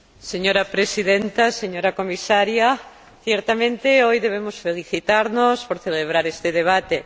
Señora Presidenta, señora Comisaria, ciertamente hoy debemos felicitarnos por celebrar este debate.